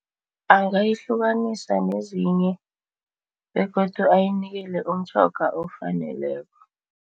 Angayihlukanisa nezinye begodu ayinikele umtjhoga okufaneleko.